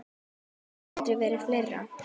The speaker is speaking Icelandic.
Fólkið hefur aldrei verið fleira.